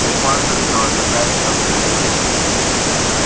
похоже что ожидается буря